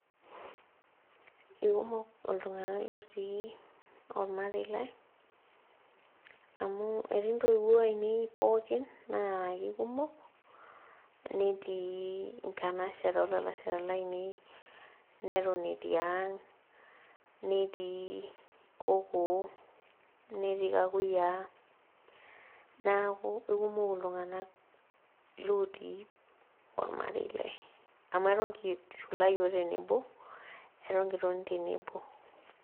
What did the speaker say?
Ikumok iltung'anak lotii ormarei lai amu etii ntoiwuo ainei pookin naa kikumok netii inkanashara olalashara lainei neton etii ang netii kokoo netii kakuyia naku ikumok iltung'anak lotii ormarei lai amu eton kishula iyiok tenebo eton kitoni tenebo.